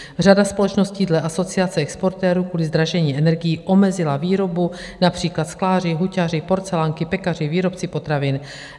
Řada společností dle Asociace exportérů kvůli zdražení energií omezila výrobu, například skláři, huťaři, porcelánky, pekaři, výrobci potravin.